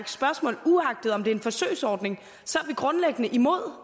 spørgsmål uagtet om det er en forsøgsordning så er vi grundlæggende imod